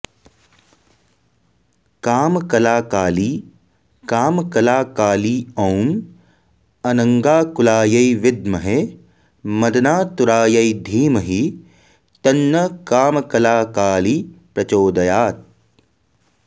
कामकलाकाली कामकलाकाली ॐ अनङ्गाकुलायै विद्महे मदनातुरायै धीमहि तन्नः कामकलाकाली प्रचोदयात्